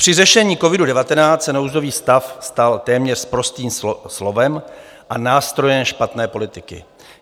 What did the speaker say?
Při řešení covidu-19 se nouzový stav stal téměř sprostým slovem a nástrojem špatné politiky.